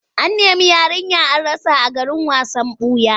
An nemi yarinya an rasa a garin wasan ɓuya.